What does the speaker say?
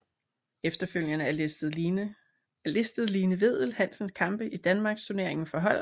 Efterfølgende er listet Line Vedel Hansens kampe i Danmarksturneringen for hold